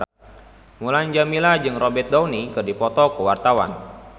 Mulan Jameela jeung Robert Downey keur dipoto ku wartawan